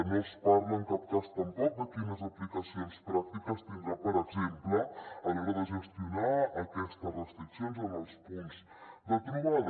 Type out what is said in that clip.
no es parla en cap cas tampoc de quines aplicacions pràctiques tindrà per exemple a l’hora de gestionar aquestes restriccions en els punts de trobada